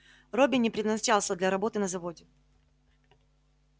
робби не предназначался для работы на заводе